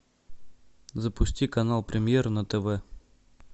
запусти канал премьер на тв